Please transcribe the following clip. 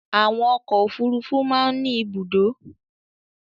Àwọn ọkọ̀ òfurufú máa ń ní ibùdó.